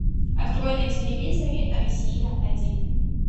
открой на телевизоре россия один